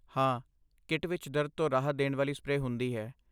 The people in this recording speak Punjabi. ਹਾਂ, ਕਿੱਟ ਵਿੱਚ ਦਰਦ ਤੋਂ ਰਾਹਤ ਦੇਣ ਵਾਲੀ ਸਪਰੇਅ ਹੁੰਦੀ ਹੈ।